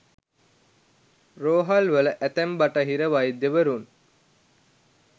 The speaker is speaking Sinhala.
රෝහල්වල ඇතැම් බටහිර වෛද්‍යවරුන්